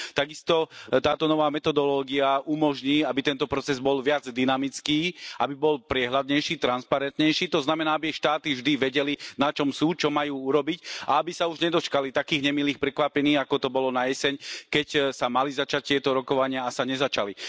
Tak isto táto nová metodológia umožní, aby tento proces bol viac dynamický, aby bol priehľadnejší, transparentnejší, to znamená, aby štáty vždy vedeli na čom sú, čo majú urobiť a aby sa už nedočkali takých nemilých prekvapení, ako to bolo na jeseň, keď sa mali začať tieto rokovania a sa nezačali.